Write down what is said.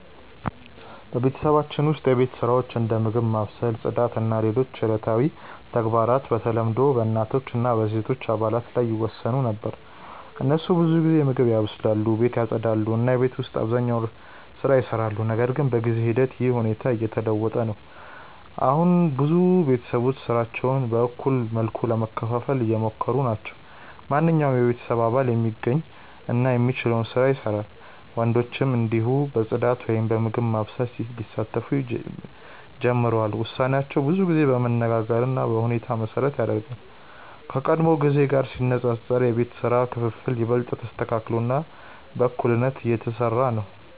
በቤተሰባችን ውስጥ የቤት ስራዎች እንደ ምግብ ማብሰል፣ ጽዳት እና ሌሎች ዕለታዊ ተግባራት በተለምዶ በእናቶች እና በሴቶች አባላት ላይ ይወሰኑ ነበር። እነሱ ብዙ ጊዜ ምግብ ያበስላሉ፣ ቤትን ያጽዳሉ እና የቤት ውስጥ አብዛኛውን ስራ ይሰራሉ። ነገር ግን በጊዜ ሂደት ይህ ሁኔታ እየተለወጠ ነው። አሁን ብዙ ቤተሰቦች ስራዎችን በእኩል መልኩ ለመከፋፈል እየሞከሩ ናቸው። ማንኛውም የቤተሰብ አባል የሚገኝ እና የሚችለውን ስራ ይሰራል፣ ወንዶችም እንዲሁ በጽዳት ወይም በምግብ ማብሰል ሊሳተፉ ጀምረዋል። ውሳኔዎች ብዙ ጊዜ በመነጋገር እና በሁኔታ መሠረት ይደረጋሉ፣ ከቀድሞ ጊዜ ጋር ሲነጻጸር የቤት ስራ ክፍፍል ይበልጥ ተስተካክሎ እና በእኩልነት እየተሰራ ነው።